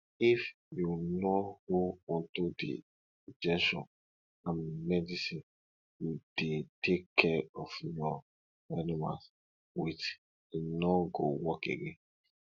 if you no hold onto di injection and medicine you dey take care of your animal with e no go work again